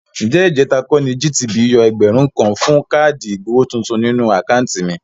Ǹjẹ́ ìjẹ̀ta kọ́ ni GTB yọ ẹgbẹ̀rún kan fún káàdì ìgbowó tuntun nínú àkáùntì mi?